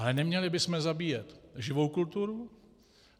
Ale neměli bychom zabíjet živou kulturu.